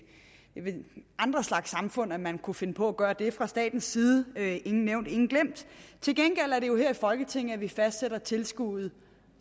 andre slags samfund man kunne finde på at gøre det fra statens side ingen nævnt ingen glemt til gengæld er det jo her i folketinget vi fastsætter tilskuddets